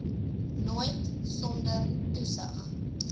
nooit sonder toesig